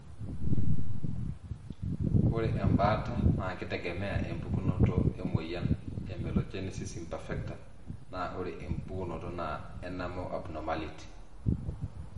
Ore embaata na kitegemea empukunoto emoyian emelogenesis imperfecta na ore empukunoto e enamel abnormality.